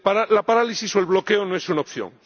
La parálisis o el bloqueo no es una opción.